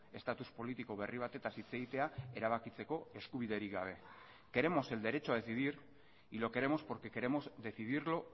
estatus politiko berri batetaz hitz egitea erabakitzeko eskubiderik gabe queremos el derecho a decidir y lo queremos porque queremos decidirlo